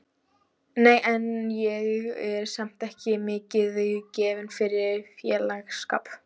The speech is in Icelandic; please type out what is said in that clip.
Nei, en ég er samt ekki mikið gefin fyrir félagsskap.